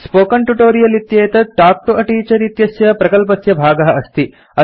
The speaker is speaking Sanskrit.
स्पोकेन ट्यूटोरियल् इत्येतत् तल्क् तो a टीचर इत्यस्य प्रकल्पस्य भागः अस्ति